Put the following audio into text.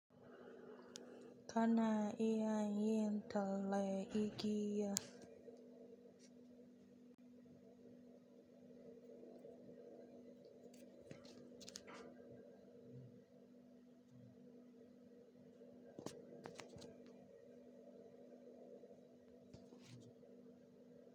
Kana iya yin talle, igiya.